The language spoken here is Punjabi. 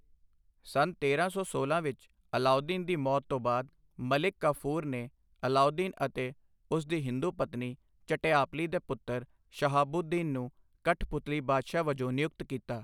ਸੰਨ ਤੇਰਾਂ ਸੌ ਸੋਲ੍ਹਾਂ ਵਿੱਚ ਅਲਾਉਦੀਨ ਦੀ ਮੌਤ ਤੋਂ ਬਾਅਦ ਮਲਿਕ ਕਾਫ਼ੂਰ ਨੇ ਅਲਾਉਦੀਨ ਅਤੇ ਉਸ ਦੀ ਹਿੰਦੂ ਪਤਨੀ ਝਟਿਆਪਲੀ ਦੇ ਪੁੱਤਰ ਸ਼ਹਾਬੂਦੀਨ ਨੂੰ ਕਠਪੁਤਲੀ ਬਾਦਸ਼ਾਹ ਵਜੋਂ ਨਿਯੁਕਤ ਕੀਤਾ।